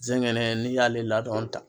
Zɛngɛnɛ n'i y'ale ladɔn ta.